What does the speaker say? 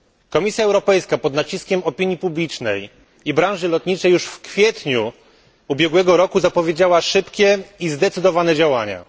Komisja Europejska, pod naciskiem opinii publicznej i branży lotniczej, już w kwietniu ubiegłego roku zapowiedziała szybkie i zdecydowane działania.